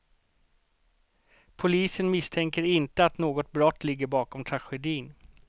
Polisen misstänker inte att något brott ligger bakom tragedin.